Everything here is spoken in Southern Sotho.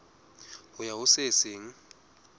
ho ya ho se seng